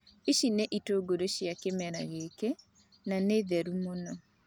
Ici nĩ itũngũrũ cia kĩmera giki, na nĩ therũ mũno.